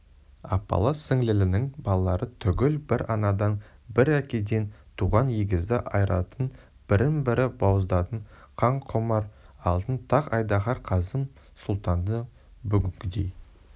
апалы-сіңлілінің балалары түгіл бір анадан бір әкеден туған егізді айыратын бірін-бірі бауыздататын қанқұмар алтын тақ-айдаһар қасым сұлтанды бүгінгідей